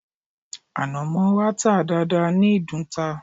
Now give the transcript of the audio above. Ànàmọ́ wa ta dáadáa ní ìdunta